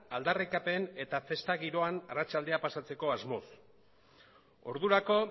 aldarrikapen eta festa giroan arratsaldea pasatzeko asmoz ordurako